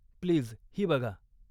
Please ही बघा.